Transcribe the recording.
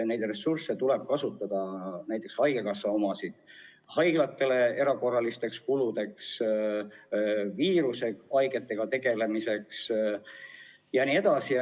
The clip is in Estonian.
Neid ressursse tuleb kasutada, näiteks haigekassa omasid, haiglate erakorraliste kulude katmiseks, viirushaigetega tegelemiseks jne.